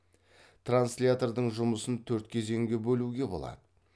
транслятордың жұмысын төрт кезеңге бөлуге болады